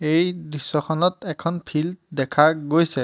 এই দৃশ্যখনত এখন ফিল্ড দেখা গৈছে।